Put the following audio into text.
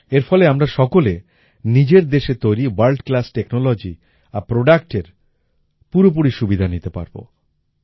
এর ফলে আমরা সকলে নিজের দেশে তৈরি ভোর্ল্ড ক্লাস টেকনোলজি আর Productএর পুরোপুরি সুবিধা নিতে পারবো